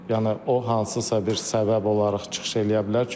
Yəni o hansısa bir səbəb olaraq çıxış eləyə bilər.